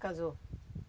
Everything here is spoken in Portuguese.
Casou.